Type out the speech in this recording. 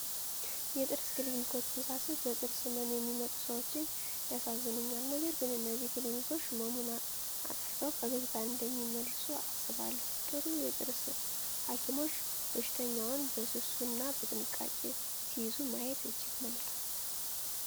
የጥርስ ክሊኒኮችን ሳስብ በጥርስ ህመም የሚመጡ ሰዎች ያሳዝኑኛል። ነገር ግን እነዚህ ክሊኒኮች ህመሙን አጥፍተው ፈገግታን እንደሚመልሱ አስባለሁ። ጥሩ የጥርስ ሐኪሞች በሽተኛውን በስሱ እና በጥንቃቄ ሲይዙ ማየት እጅግ መልካም ነው።